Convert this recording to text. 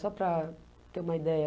Só para ter uma ideia.